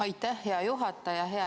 Aitäh, hea juhataja!